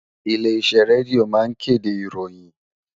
Ilé iṣẹ́ rédíò ma ń kéde ìròyìn